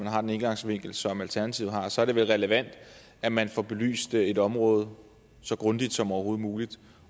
har den indgangsvinkel som alternativet har så er det vel relevant at man får belyst et område så grundigt som overhovedet muligt